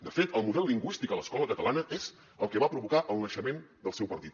de fet el model lingüístic a l’escola catalana és el que va provocar el naixement del seu partit